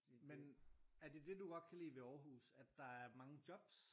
Men er det det du godt kan lide ved Aarhus at der er mange jobs?